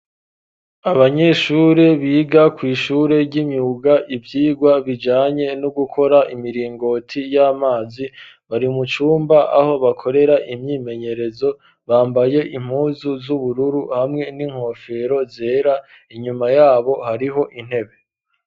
Abanyeshure biga kw'ishure ry'imyuga, ivyigwa bijanye no gukora imiringoti y'amazi, bari mu cumba aho bakorera imyimenyerezo, bambaye impuzu z'ubururu hamwe n'inkofero zera, inyuma yabo hariho intebe.